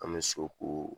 An bɛ so ko